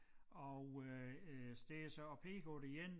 Og øh øh står så og peger på det ene